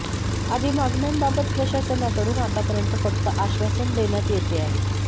आदी मागण्यांबाबत प्रशासनाकडून आतापर्यंत फक्त आश्वासन देण्यात येते आहे